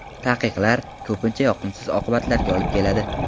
Taqiqlar ko‘pincha yoqimsiz oqibatlarga olib keladi.